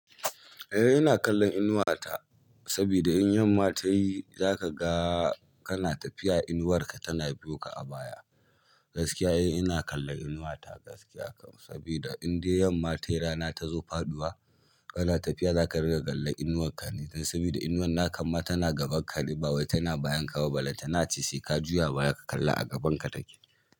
Eh ina kallon inuwata sabida in yamma ta yi za ka ga kana tafiya inuwarka tana biyo ka a baya. Gaskiya eh ina kallon inuwata gaskiya kam sabida in dai yamma ta yi rana ta zo faɗuwa kana tafiya za ka riga kallan inuwanka ne dan sabida inuwan na kama tana gaban ka ne ba wai tana bayan ka ba balle ta na ace sai ka juya baya ka kalla a gaban ka take.